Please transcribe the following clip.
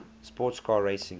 sports car racing